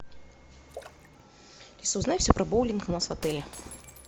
алиса узнай все про боулинг у нас в отеле